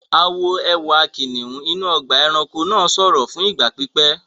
A wo ẹwà kìnìún inú ọgbà-ẹranko náà sọ̀rọ̀ fún ìgbà pípẹ́.